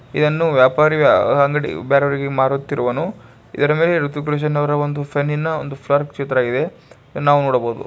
ವ್ಯಾಪಾರ ಬೇರೆಯವರಿಗೆ ಮಾರುತ್ತಿರುವನು ಇದರ ಮೇಲೆ ಹೃತಿಕ್ ರೋಷನ್ ಅವರ ಚಿತ್ರವಿದೆ ಪೆನ್ನ ಮೇಲೆ ನಾವು ನೋಡಬಹುದು.